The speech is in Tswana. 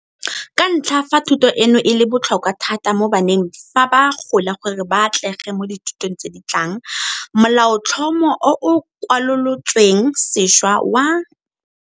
Ka ntlha ya fa thuto eno e le botlhokwa thata mo baneng fa ba gola gore ba atlege mo dithutong tse di tlang, Molaotlhomo o o Kwalolotsweng Sešwa wa.